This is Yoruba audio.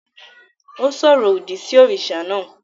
Ó sọ̀rọ̀ òdì sí òrìṣà náà